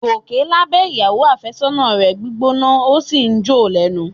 Gòkè lábẹ̀ ìyàwó àfẹ́sọ́nà rẹ̀ gbígbóná ó sì jó o lẹ́nu